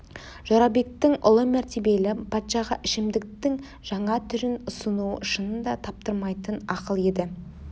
жорабектің ұлы мәртебелі патшаға ішімдіктің жаңа түрін ұсынуы шынында таптырмайтын ақыл еді